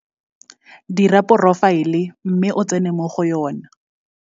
Dira porofaele mme o tsene mo go yona.